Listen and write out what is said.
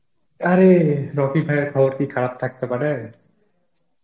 আরে রকি ভাই এর খবর কি খারাপ থাকতে পারে